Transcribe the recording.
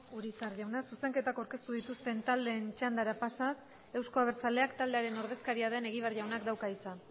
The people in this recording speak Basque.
urizar jauna zuzenketak aurkeztu dituzten taldeen txandara pasaz euzko abertzaleak taldearen ordezkaria den egibar jaunak dauka hitza